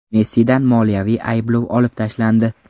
Messidan moliyaviy ayblov olib tashlandi.